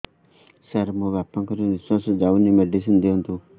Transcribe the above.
ସାର ମୋର ବାପା ଙ୍କର ନିଃଶ୍ବାସ ଯାଉନି ମେଡିସିନ ଦିଅନ୍ତୁ